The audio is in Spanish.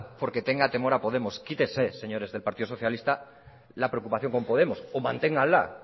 porque tenga temor a podemos quítense señores del partido socialista la preocupación con podemos o manténgala